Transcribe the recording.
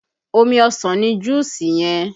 Omi ọsàn ni juusi yẹn